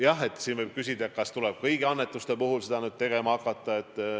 Jah, siin võib küsida, kas seda tuleb nüüd hakata tegema kõigi annetuste puhul.